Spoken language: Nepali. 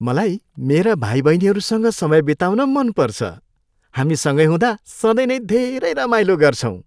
मलाई मेरा भाइबहिनीहरूसँग समय बिताउन मन पर्छ। हामी सँगै हुँदा सधैँ नै धेरै रमाइलो गर्छौँ।